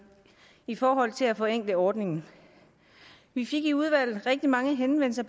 i forhold til at forenkle ordningen vi fik i udvalget rigtig mange henvendelser